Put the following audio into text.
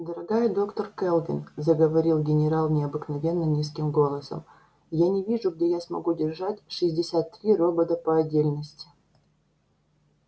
дорогая доктор кэлвин заговорил генерал необыкновенно низким голосом я не вижу где я смогу держать шестьдесят три робота по отдельности